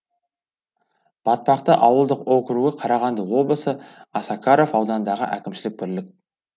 батпақты ауылдық округі қарағанды облысы осакаров ауданындағы әкімшілік бірлік